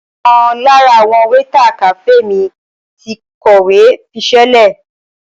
Ọ̀kan lára àwọn wéétà kàféè mi ti kọ̀wé fiṣẹ́lẹ̀.